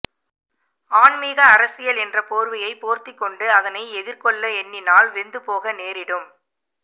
ஆன்மீக அரசியல் என்ற போர்வையைப் போர்த்திக் கொண்டு அதனை எதிர்கொள்ள எண்ணினால் வெந்துபோக நேரிடும்